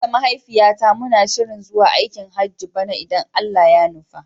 Ni da mahaifiyata muna shirin zuwa aikin Hajjin bana idan Allah ya nufa.